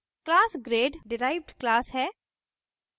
class grade derived class है